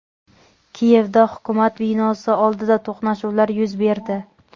Kiyevda hukumat binosi oldida to‘qnashuvlar yuz berdi.